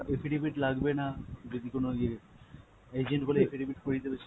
affidavit লাগবে না যদি কোনো ইয়ে agent বলে affidavit করিয়ে দেবে।